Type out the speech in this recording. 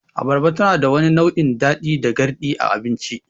Abarba tanada wani nau'in daɗi da garɗi a abinci.